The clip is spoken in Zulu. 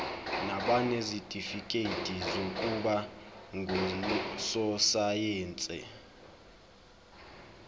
nabanezitifikedi zokuba ngososayense